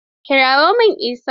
Kirawo min Isa.